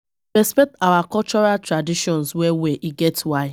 We dey respect our cultural traditions well-well, e get why.